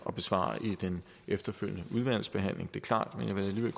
at besvare i den efterfølgende udvalgsbehandling det er klart men jeg vil